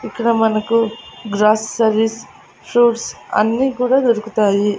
ఇక్కడ మనకు groceries fruits అన్నీ కూడా దొరుకుతాయి.